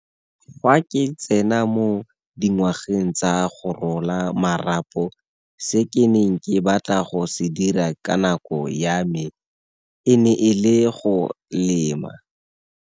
Fa ke tsena mo dingwageng tsa go rola marapo se ke neng ke batla go se dira ka nako ya me e ne e le go lema.